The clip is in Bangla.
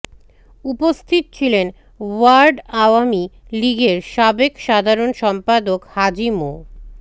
উপস্থিত ছিলেন ওয়ার্ড আওয়ামী লীগের সাবেক সাধারণ সম্পাদক হাজি মো